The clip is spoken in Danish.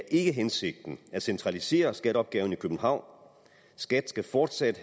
ikke er hensigten at centralisere skatteopgaven i københavn skat skal fortsat